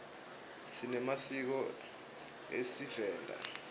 sinemasiko esivenda